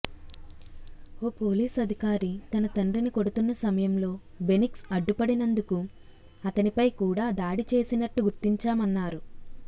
ఓ police అధికారి తన తండ్రిని కొడుతున్న సమయంలో బెనిక్స్ అడ్డుపడినందుకు అతనిపై కూడా దాడి చేసినట్టు గుర్తించామన్నారు